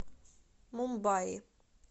мумбаи